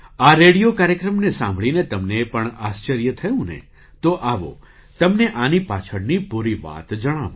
આ રેડિયો કાર્યક્રમને સાંભળીને તમને પણ આશ્ચર્ય થયું ને તો આવો તમને આની પાછળની પૂરી વાત જણાવું